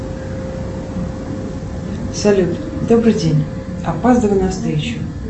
салют добрый день опаздываю на встречу